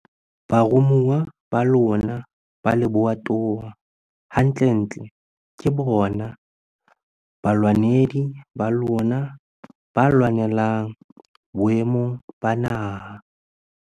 Baromuwa ba lona ba lebatowa hantlentle ke bona balwanedi ba lona ba le lwanelang boemong ba naha.